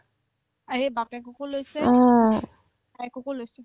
আৰে বাপকেকো লৈছে ভায়েককো লৈছে